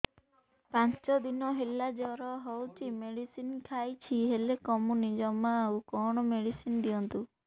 ପାଞ୍ଚ ଦିନ ହେଲା ଜର ହଉଛି ମେଡିସିନ ଖାଇଛି ହେଲେ କମୁନି ଜମା ଆଉ କଣ ମେଡ଼ିସିନ ଦିଅନ୍ତୁ